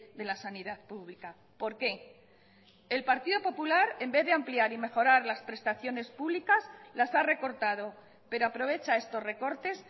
de la sanidad pública por qué el partido popular en vez de ampliar y mejorar las prestaciones públicas las ha recortado pero aprovecha estos recortes